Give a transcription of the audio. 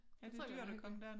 Det tror jeg kunne være hyg